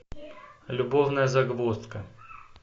любовная загвоздка